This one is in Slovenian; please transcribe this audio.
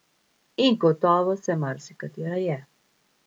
In gotovo se marsikatera je.